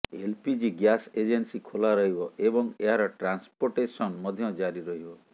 LPG gas agency ଖୋଲା ରହିବ ଏବଂ ଏହାର ଟ୍ରାନ୍ସପୋଟେସନ୍ ମଧ୍ୟ ଜାରି ରହିବ